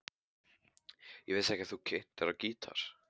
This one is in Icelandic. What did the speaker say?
Ég vissi ekki að þú kynnir á gítar.